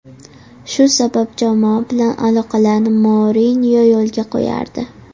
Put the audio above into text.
Shu sabab jamoa bilan aloqalarni Mourinyo yo‘lga qo‘yardi.